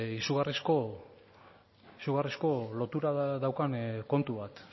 izugarrizko lotura daukan kontu bat